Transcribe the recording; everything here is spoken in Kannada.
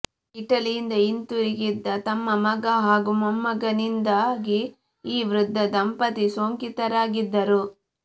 ಇಟಲಿಯಿಂದ ಹಿಂದಿರುಗಿದ್ದ ತಮ್ಮ ಮಗ ಹಾಗೂ ಮೊಮ್ಮಗನಿಂದಾಗಿ ಈ ವೃದ್ಧ ದಂಪತಿ ಸೋಂಕಿತರಾಗಿದ್ದರು